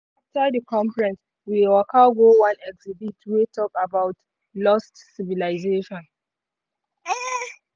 after di conference we waka go one exhibit wey talk about lost civilization.